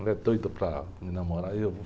Mulher doida para me namorar e eu...